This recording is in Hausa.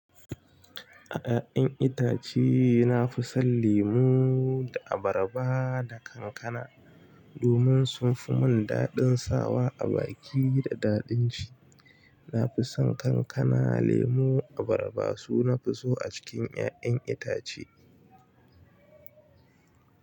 A ya'yan itace, na fi son lemo da abarba da kankana domin sun fi mun daɗin sawa a baki da daɗin ci. Na fi son kankana, lemo, abarba su na fi so a cikin ya'yan itace.